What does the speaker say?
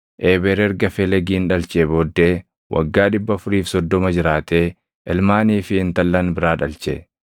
Eeber erga Felegin dhalchee booddee waggaa 430 jiraatee ilmaanii fi intallan biraa dhalche.